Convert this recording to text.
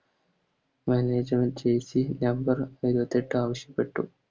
Management jersey number ഇരുപത്തെട്ടാവശ്യപ്പെട്ടു